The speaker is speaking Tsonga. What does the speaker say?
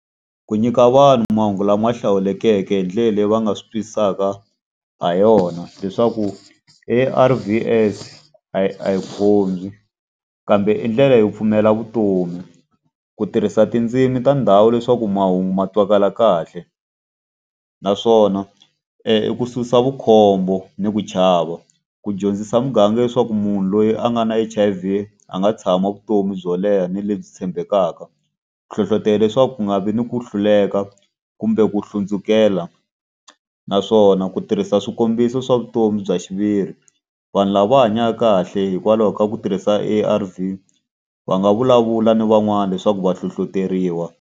Ku nyika vanhu mahungu lama hlawulekeke hi ndlela leyi va nga swi twisisaka ha yona leswaku A_R_V_S a yi a yi , kambe i ndlela yo pfumela vutomi. Ku tirhisa tindzimi ta ndhawu leswaku mahungu ma twakala kahle. Naswona i ku susa vukhombo ni ku chava, ku dyondzisa muganga leswaku munhu loyi a nga na H_I_V a nga tshama vutomi byo leha ni lebyi tshembekaka. Ku hlohlotelo leswaku ku nga vi ni ku hluleka kumbe ku hlundzukela. Naswona ku tirhisa swikombiso swa vutomi bya xiviri, vanhu lava va hanyaka kahle hikwalaho ka ku tirhisa A_R_V, va nga vulavula ni van'wana leswaku va hlohloteriwa.